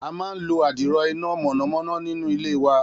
A máa ń lo adiro iná mọ̀nàmọ́ná nínú ilé wa.